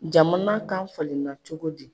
Jamana kan falenna cogo di?